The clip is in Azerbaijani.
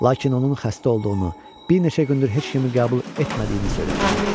Lakin onun xəstə olduğunu, bir neçə gündür heç kimi qəbul etmədiyini söylədilər.